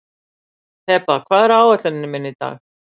Heba, hvað er á áætluninni minni í dag?